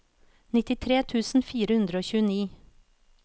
nittitre tusen fire hundre og tjueni